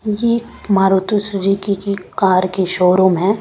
यह मारुति सुजुकी की कार की शोरूम है।